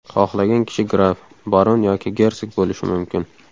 Xohlagan kishi graf, baron yoki gersog bo‘lishi mumkin.